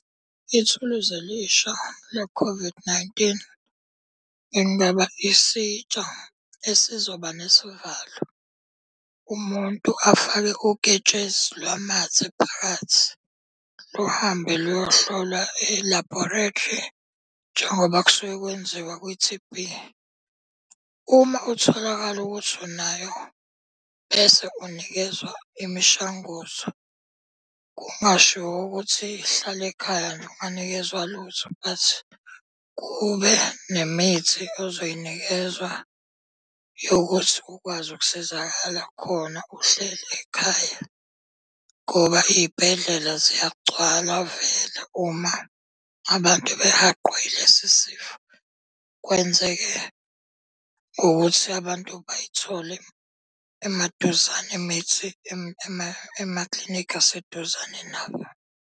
Ithuluzi elisha le-COVID-19, bekungaba isitsha esizoba nesivalo umuntu afake uketshezi lwamathe phakathi. Luhambe luyohlolwa e-laboratory njengoba kusuke kwenziwa kwi-T_B. Uma utholakale ukuthi unayo bese unikezwa imishanguzo, kungashiwo ukuthi hlale ekhaya nje unganikezwa lutho. But kube nemithi ozoyinikezwa yokuthi ukwazi ukusizakala khona uhleli ekhaya. Ngoba iy'bhedlela ziyagcwala vele uma abantu abahaqwe yilesi sifo. Kwenzeke ngokuthi abantu bayithole emaduzane imithi emaklinikhi aseduzane nabo.